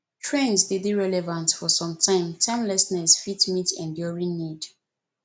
trends de dey relevant for some time timelessness fit meet enduring need